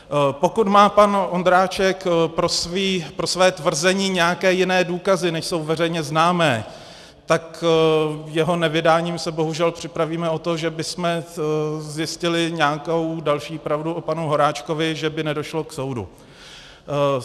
Pokud má pan Ondráček pro své tvrzení nějaké jiné důkazy, než jsou veřejně známé, tak jeho nevydáním se bohužel připravíme o to, že bychom zjistili nějakou další pravdu o panu Horáčkovi, že by nedošlo k soudu.